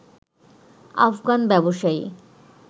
আফগান ব্যবসায়ী